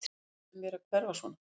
Fyrirgefðu mér að hverfa svona.